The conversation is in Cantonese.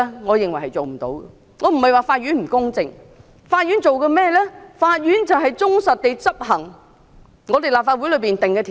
我並非說法院不公正，而是法院負責忠實執行立法會所定的法例。